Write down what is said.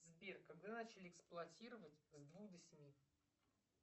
сбер когда начали эксплуатировать с двух до семи